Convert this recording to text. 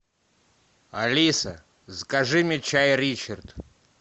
алиса закажи мне чай ричард